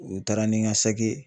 U taara ni n ka saki ye